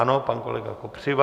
Ano, pan kolega Kopřiva.